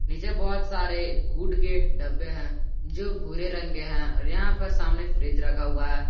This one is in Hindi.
नीचे बहुत सारे कूड के डब्बे हैं जो भूरे रंग के हैं और यहां पर सामने फ्रिज रखा हुआ है।